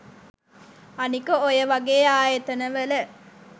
අනික ඔය වගේ ආයතනවල